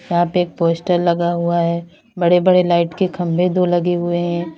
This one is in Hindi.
यहां पे एक पोस्टर लगा हुआ है बड़े बड़े लाइट के खंभे दो लगे हुए हैं।